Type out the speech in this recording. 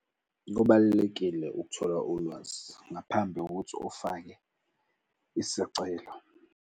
Kubalulekile ukuthola ulwazi ngaphambi kokuthi ufake isicelo.